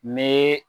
Me